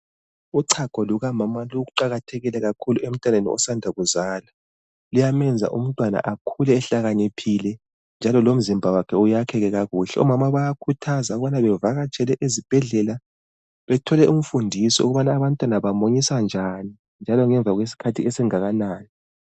Uchago lukamama luqakathekile kakhulu emntwaneni osanda kuzalwa luyamenza umntwana akhule ehlakaniphile njalo lomzimba wakhe uyakheke kakuhle, omama bayakhuthazwa ubakubana bavakatshele ezibhedlela bethole imfundiso ukubana abantwana bamunyiswa njani njalo ngemva kwesikhathi esingakanani.